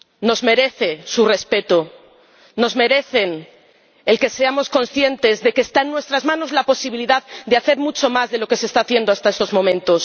Se merecen nuestro respeto, se merecen que seamos conscientes de que está en nuestras manos la posibilidad de hacer mucho más de lo que se está haciendo hasta estos momentos.